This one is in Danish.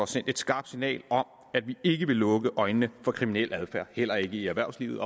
sendt et skarpt signal om at vi ikke vil lukke øjnene for kriminel adfærd heller ikke i erhvervslivet